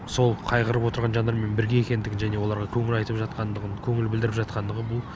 сол қайғырып отырған жандармен бірге екендігін және оларға көңіл айтып жатқандығын көңіл білдіріп жатқандығы бұл